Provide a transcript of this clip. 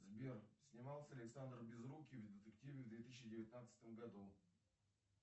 сбер снимался ли александр безрукий в детективе в две тысячи девятнадцатом году